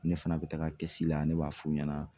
Ne fana bɛ taga la ne b'a f'u ɲɛna